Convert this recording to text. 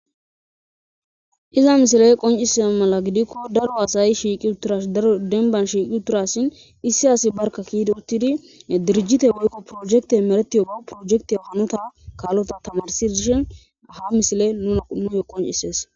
iza misiley qoncisida mala gidikko daro asayi shiiqi uturash daro denban shiiqi uturasshin issi asi barka kiidi uttidi dirjite woykko projekte meretiyo bawu projektio hanota kaallota tamarsi dishen ha misile nuna nuyo qoncisees